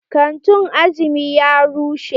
Kantin Azumi ya rushe.